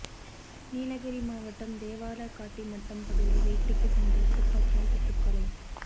நீலகிரி மாவட்டம் தேவாலா காட்டி மட்டம் பகுதியில் வேட்டைக்கு சென்றவர் துப்பாக்கியால் சுட்டுக் கொலை